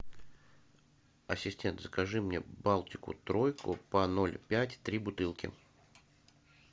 ассистент закажи мне балтику тройку по ноль пять три бутылки